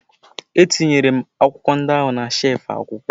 Etinyere m akwụkwọ ndị ahụ na shelfụ akwụkwọ.